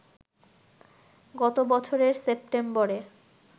গত বছরের সেপ্টেম্বরে